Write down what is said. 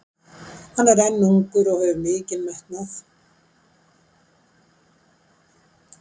Hann er enn ungur og hefur mikinn metnað.